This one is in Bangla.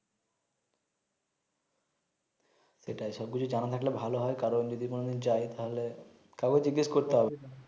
এটাই সব কিছু জানা থাকলে ভালো হয় কারন যদি কোন দিন যাই তাইলে কাওকে জিজ্ঞেস করতে হবে না